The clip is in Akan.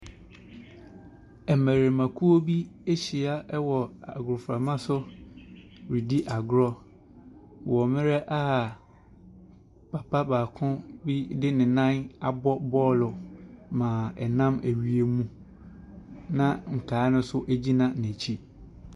Mmarimakuo bi ahyia wɔ agoprama so redi agorɔ wɔ mmerɛ a papa baako de ne nan abɔ bɔɔlo ma ɛnam ɛwiem na nkaeɛ no nso ɛgyina n’akyi.